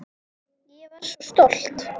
Ég var svo stolt.